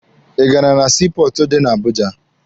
Ị gara na sii pọọtụ dị na Abuja?